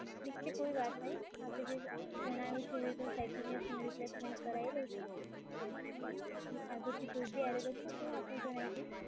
ઠીક છે, કોઈ વાત નહીં. આપે જે જણાયું છે એવી રીતે હું સેટિંગનું replacement કરાઈ દઉં છું, આગળથી કોઈ બી error હશે તો હું આપને જણાઈ દઈશ.